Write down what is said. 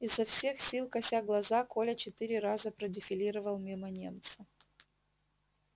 изо всех сил кося глаза коля четыре раза продефилировал мимо немца